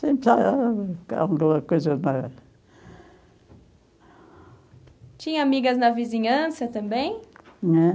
alguma coisa na... Tinha amigas na vizinhança também? Ãh?